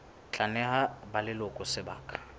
tla neha ba leloko sebaka